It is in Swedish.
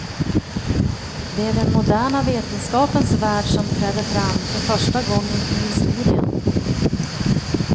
Det är den moderna vetenskapens värld som träder fram, för första gången i historien.